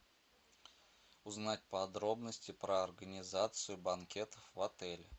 узнать подробности про организацию банкетов в отеле